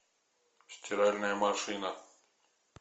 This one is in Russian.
стиральная машина